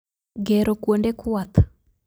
Gero kwonde kwath